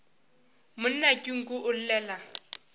monna ke nku o llela